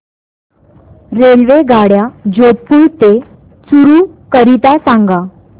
रेल्वेगाड्या जोधपुर ते चूरू करीता सांगा